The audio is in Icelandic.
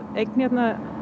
eign hér